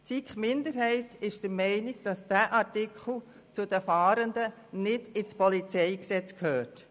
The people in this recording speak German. Die SiK-Minderheit ist der Meinung, dass dieser Artikel zu den Fahrenden nicht ins PolG gehört.